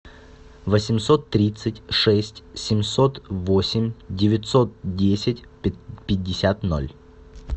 восемьсот тридцать шесть семьсот восемь девятьсот десять пятьдесят ноль